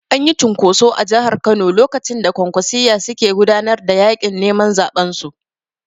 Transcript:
Anyi cunkoso a Jahar Kano lokacin da Kwankwasiyya suke gudanar da yaƙin neman zaɓen su